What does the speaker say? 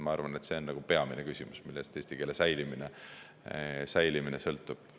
Ma arvan, et see on peamine küsimus, millest eesti keele säilimine sõltub.